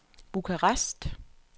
Bukarest